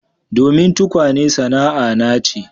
Domin tukwane sana'ana ce